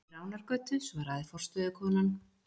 Við Ránargötu, svaraði forstöðukonan.